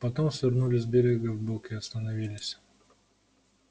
потом свернули с берега вбок и остановились